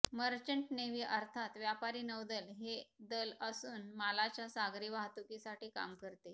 merchant navy अर्थात व्यापारी नौदल हे दल असून मालाच्या सागरी वाहतुकीसाठी काम करते